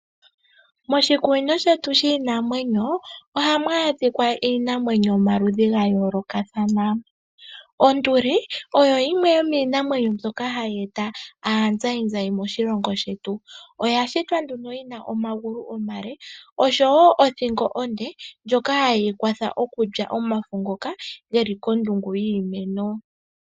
Moshikunino shetu shiinamwenyo ohamu adhika iinamwenyo yomaludhi ga yoolokathana. Onduli oyo yimwe yo miinamwenyo mbyoka hayi e ta aazayizayi moshilongo shetu. Oya shitwa nduno yi na omagulu omale oshowo othingo onde ndjoka haye yi kwatha okulya omafo ngoka geli kondungu yiimeno.